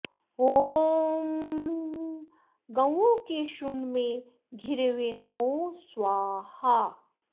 ॐ गौओं के श्रुण्ड में घिरे हुये नमो स्वाहा